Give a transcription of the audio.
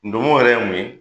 Ndomo yɛrɛ ye mun ye?